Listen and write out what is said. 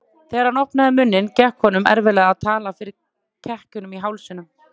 Þegar hann opnaði munninn gekk honum erfiðlega að tala fyrir kekkinum í hálsinum.